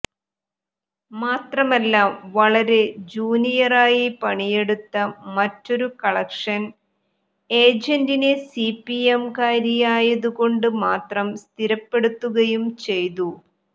മാത്രമല്ല വളരെ ജൂനിയറായി പണിയെടുത്ത മറ്റൊരു കളക്ഷൻ ഏജന്റിനെ സിപിഎം കാരിയായതുകൊണ്ട് മാത്രം സ്ഥിരപ്പെടുത്തുകയും ചെയ്തു